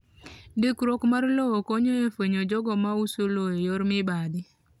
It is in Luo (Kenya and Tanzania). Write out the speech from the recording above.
Ndikruok mar lowo konyo e fwenyo jogo ma uso lowo e yor mibadhi.